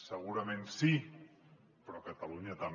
segurament sí però catalunya també